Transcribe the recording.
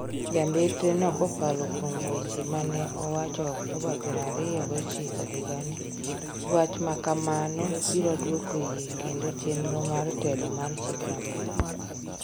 Jambetre no kokalo kuom weche mane owacho Oktoba pieroariyo gochiko higa ni, wacha kamano biro dwoko yie kendo chenro mar telo mar chik maber